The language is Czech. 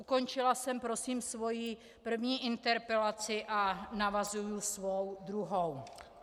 Ukončila jsem prosím svoji první interpelaci a navazuji svou druhou.